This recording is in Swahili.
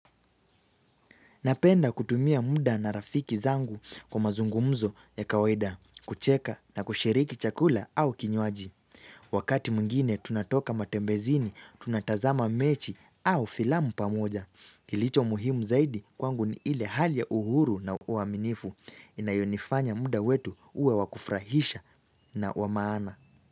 Napenda kutumia muda na rafiki zangu kwa mazungumzo ya kawaida, kucheka na kushiriki chakula au kinywaji. Wakati mngine tunatoka matembezini, tunatazama mechi au filamu pamoja. Kilicho muhimu zaidi kwangu ni ile hali ya uhuru na uaminifu. Inayonifanya muda wetu uwe wakufrahisha na wamaana.